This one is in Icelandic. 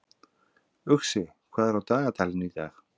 Uxi, hvað er á dagatalinu í dag?